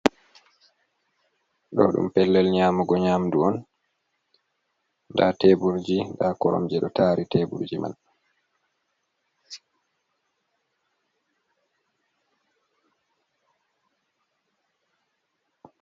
Ɗo ɗum pellel nyamugo nyamdu on nda tebulji nda korom je ɗo tari tebulji man.